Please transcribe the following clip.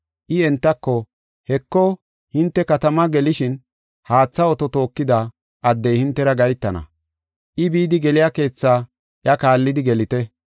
I entako, “Heko hinte katama gelishin haatha oto tookida addey hintera gahetana. I bidi geliya keethaa iya kaallidi gelite.